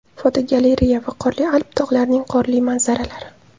Fotogalereya: Viqorli Alp tog‘larining qorli manzaralari.